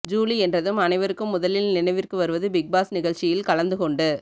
Julie என்றதும் அனைவருக்கும் முதலில் நினைவிற்கு வருவது பிக் பாஸ் நிகழ்ச்சியில் கலந்துகொண்டு